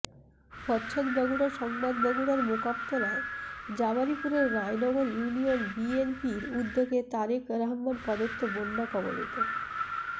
প্রচ্ছদ বগুড়া সংবাদ বগুড়ার মোকামতলা জাবারীপুরে রায়নগর ইউনিয়ন বিএনপির উদ্যেগে তারেক রহমান প্রদত্ত বন্যা কবলিত